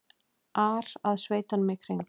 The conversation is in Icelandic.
ar að sveitunum í kring.